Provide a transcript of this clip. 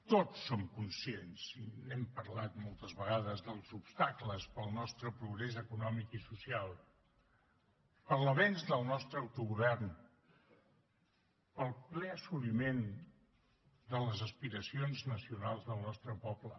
tots som conscients i n’hem parlat moltes vegades dels obstacles per al nostre progrés econòmic i social per a l’avenç del nostre autogovern per al ple assoliment de les aspiracions nacionals del nostre poble